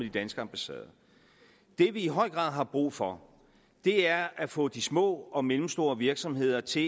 danske ambassader det vi i høj grad har brug for er at få de små og mellemstore virksomheder til